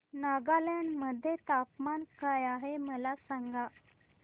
नागालँड मध्ये तापमान काय आहे मला सांगा